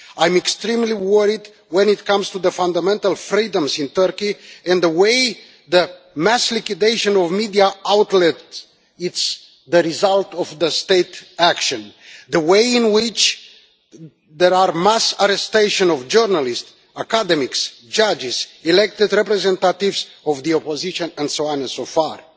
I'm extremely worried when it comes to the fundamental freedoms in Turkey and the way the mass liquidation of media outlets is the result of the state action. The way in which there are mass arrestation of journalists, academics, judges, elected representatives of the opposition and so on and so forth.